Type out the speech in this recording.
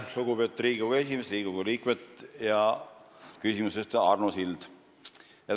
Lugupeetud Riigikogu esimees, Riigikogu liikmed ja küsimuse esitaja Arno Sild!